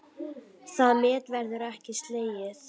Það met verður ekki slegið.